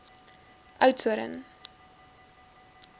oudtshoorn